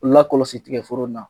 U lakɔlɔsi tigɛforo in na